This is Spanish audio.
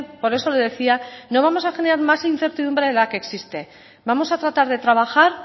por eso le decía no vamos a generar más incertidumbre de la que existe vamos a tratar de trabajar